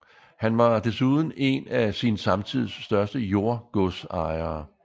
Han var desuden en af sin samtids største jordgodsejere